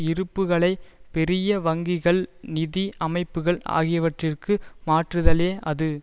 இருப்புக்களை பெரிய வங்கிகள் நிதி அமைப்புக்கள் ஆகியவற்றிற்கு மாற்றுதலே அது